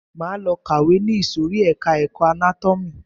Máa lọ kàwé ni ìsòrí ẹka ẹ̀kọ́ anátómì.